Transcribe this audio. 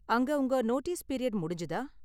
அங்க உங்க notice period முடிஞ்சுதா?